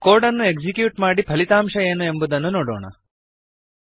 code ಅನ್ನು execute ಮಾಡಿ ಫಲಿತಾಂಶ ಏನು ಎಂಬುದನ್ನು ನೋಡೋಣ